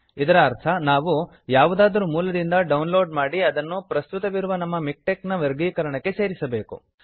ಇದರ ಅರ್ಥ ನಾವು ಯಾವುದಾದರು ಮೂಲದಿಂದ ಡೌನ್ ಲೋಡ್ ಮಾಡಿ ಅದನ್ನು ಪ್ರಸ್ತುತವಿರುವ ನಮ್ಮ ಮಿಕ್ಟೆಕ್ನ ವರ್ಗೀಕರಣಕ್ಕೆ ಸೇರಿಸಬೇಕು